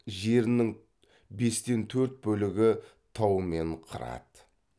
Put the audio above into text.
жерінің бестен төрт бөлігі тау мен қырат